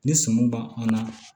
Ni sɔmi b'an an na